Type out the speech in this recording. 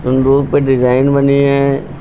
संदूक पर डिजाइन बने हैं।